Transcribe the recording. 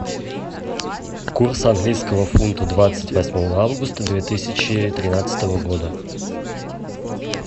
курс английского фунта двадцать восьмого августа две тысячи тринадцатого года